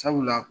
Sabula